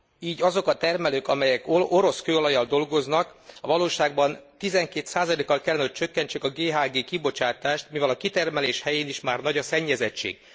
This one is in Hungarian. Így azok a termelők, amelyek orosz kőolajjal dolgoznak, a valóságban 12 kal kellene, hogy csökkentsék a GHG kibocsátást, mivel a kitermelés helyén is már nagy a szennyezettség.